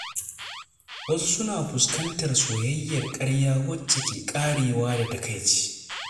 Wasu suna fuskantar soyayyar ƙarya, wacce ke ƙarewa da takaici.